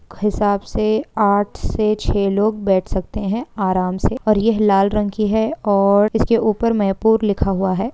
हिसाब से आठ से छै लोग बैठ सकते हैं आराम से और यह लाल रंग की है और इसके ऊपर मे पुर लिखा हुआ है ।